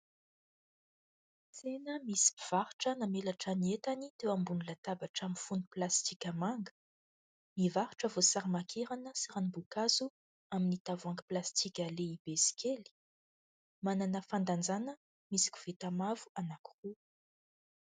Tsena misy mpivarotra namelatra ny entany teo ambony latabatra mifono plastika manga. Mivarotra voasary makirana sy ranom-boankazo amin'ny tavoahangy plastika lehibe sy kely. Manana fandanjana misy koveta mavo anankiroa.